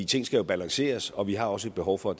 ting skal jo balanceres og vi har også et behov for